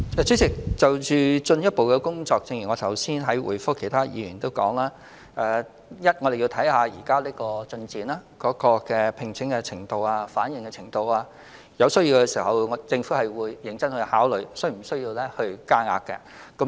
主席，就進一步的工作，正如我剛才回覆其他議員的補充質詢時提到，我們會按照形勢發展、招聘情況和反應，在有需要時認真考慮是否增加名額。